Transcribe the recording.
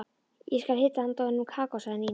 Ég skal hita handa honum kakó sagði Nína.